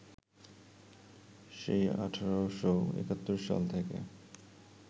সেই ১৮৭১ সাল থেকে